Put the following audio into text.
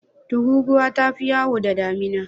Tururuwa ta fi yawo da damina.